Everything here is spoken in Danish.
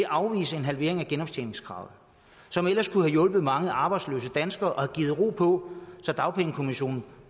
afvise en halvering af genoptjeningskravet som ellers kunne have hjulpet mange arbejdsløse danskere og have givet ro på så dagpengekommissionen